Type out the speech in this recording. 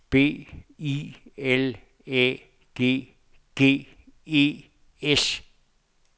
B I L Æ G G E S